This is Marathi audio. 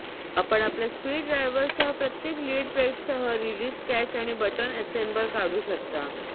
आपण आपल्या स्पीड ड्रायव्हरसह प्रत्येक लिड प्लेटसह रिलीझ कॅच आणि बटन असेंबल काढू शकता